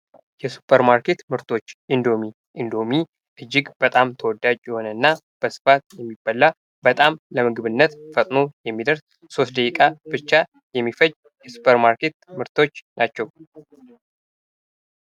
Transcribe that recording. የሱፐርማርኬት ምግቦች ፦ ኢንዶሚ ፦ ኢንዶሚ እጅግ በጣም ተወዳጅ የሆነና በስፋት የሚበላ ፣ በጣም ለምግብነት ፈጥኖ የሚደርስ ፣ ሦስት ደቂቃ ብቻ የሚፈጅ የሱፐርማርኬት ምርቶች ናቸው ።